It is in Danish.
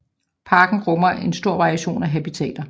Parken rummer en stor variation af habitater